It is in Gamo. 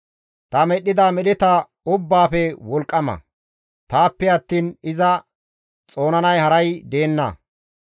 Ta medhdhida medheta ubbaafe wolqqama; taappe attiin iza xoonanay haray deenna.